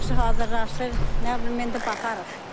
Yaxşı hazırlaşır, nə bilim indi baxarıq.